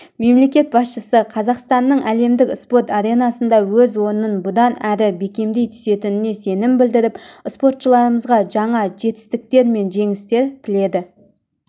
мемлекет басшысы қазақстанның әлемдік спорт аренасында өз орнын бұдан әрі бекемдей түсетініне сенім білдіріп спортшыларымызға жаңа жетістіктер мен жеңістер тіледі